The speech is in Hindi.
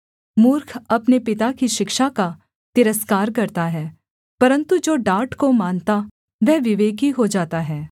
मूर्ख अपने पिता की शिक्षा का तिरस्कार करता है परन्तु जो डाँट को मानता वह विवेकी हो जाता है